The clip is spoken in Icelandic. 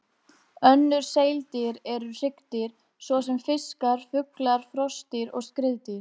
Önnur seildýr eru hryggdýr, svo sem fiskar, fuglar, froskdýr og skriðdýr.